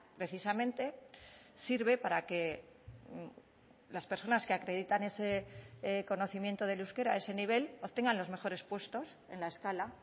precisamente sirve para que las personas que acreditan ese conocimiento del euskera ese nivel obtengan los mejores puestos en la escala